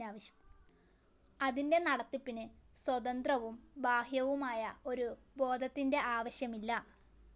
അതിൻ്റെ നടത്തിപ്പിനു സ്വതന്ത്രവും ബാഹ്യവുമായ ഒരു ബോധത്തിൻ്റെ ആവശ്യമില്ല.